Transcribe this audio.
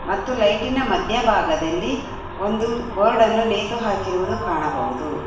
ಮತ್ತು ಲೈಟಿನ ಮಧ್ಯ ಭಾಗದಲ್ಲಿ ಒಂದು ಬೋರ್ಡ್ ಅನ್ನು ನೇತು ಹಾಕಿರುವುದು ಕಾಣಬಹುದು.